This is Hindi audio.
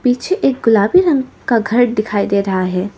पीछे एक गुलाबी रंग का घर दिखाई दे रहा है।